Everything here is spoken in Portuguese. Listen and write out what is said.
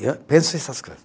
Eu penso essas coisa.